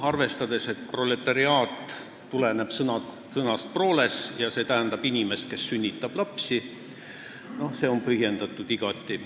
Arvestades, et sõna "proletariaat" tuleneb sõnast proles, mis tähendab inimest, kes sünnitab lapsi, oli see igati põhjendatud.